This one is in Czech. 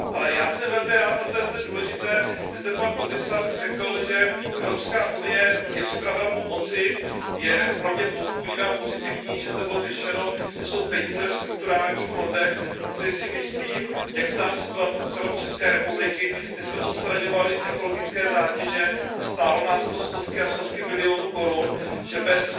Ale já jsem velmi rád a to je zde důležité, že zde pan komisař řekl, že Evropská unie je připravena pomoci, je pro mě povzbudivé a pozitivní, že zde bylo řečeno, že jsou peníze ve strukturálních fondech, protože si myslím, jak znám situaci třeba z České republiky, kde jsme odstraňovali ekologické zátěže a stálo nás to stovky a stovky milionů korun, že bez